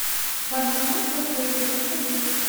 банкомат в отеле расскажи